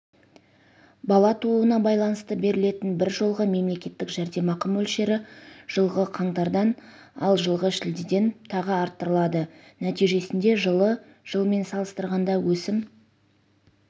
бала тууына байланысты берілетін бір жолғы мемлекеттік жәрдемақы мөлшері жылғы қаңтардан ал жылғы шілдеден тағы арттырылады нәтижесінде жылы жылмен салыстырғанда өсім